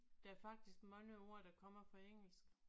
Der er faktisk mange ord der kommer fra engelsk